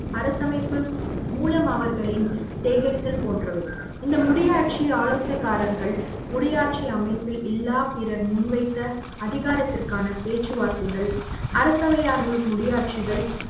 அரசமைப்பு மூலம் அவர்களின் சேகரித்தல் போன்றவை இந்த முடியாட்சி ஆலோச காரர்கள் முடியாட்சி அமைப்பில் இல்லா பிறர் முன்வைத்த அதிகாரத்திற்கான பேச்சு வார்த்தைகள் அரசையார்களுக்கு முடியாட்சிகள்